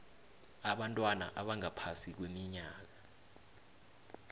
abantwana abangaphasi kweminyaka